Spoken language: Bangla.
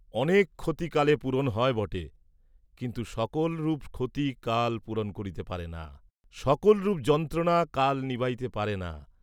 অনেক ক্ষতি কালে পূরণ হয় বটে, কিন্তু সকলরূপ ক্ষতি কাল পূরণ করিতে পারে না, সকলরূপ যন্ত্রণা কাল নিবাইতে পারে না।